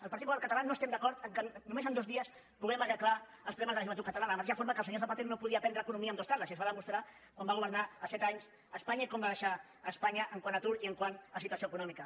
el partit popular català no estem d’acord que només en dos dies puguem arreglar els problemes de la joventut catalana de la mateixa forma que el senyor zapatero no podia aprendre economia en dues tardes i es va demostrar quan va governar set anys espanya i com va deixar espanya quant a atur i quant a situació econòmica